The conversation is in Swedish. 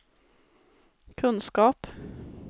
kunskap